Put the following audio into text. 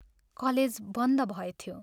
College बन्द भएथ्यो।